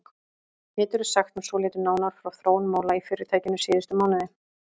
Geturðu sagt mér svolítið nánar frá þróun mála í fyrirtækinu síðustu mánuði?